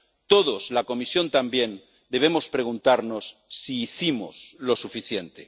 Todos, la Comisión también, debemos preguntarnos si hicimos lo suficiente.